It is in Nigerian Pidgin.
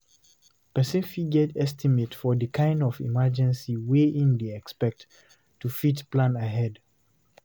Person fit get estimate for di kind of emergency wey im dey expect to fit plan ahead